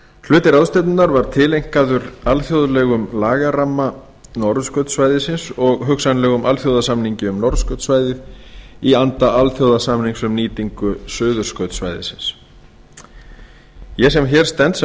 hluti ráðstefnunnar var tileinkaður alþjóðlegum lagaramma norðurskautssvæðisins og hugsanlegum alþjóðasamningi um norðurskautssvæðið í anda alþjóðasamnings um nýtingu suðurskautssvæðisins ég sem hér stend sem